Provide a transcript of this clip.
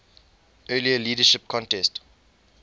earlier leadership contest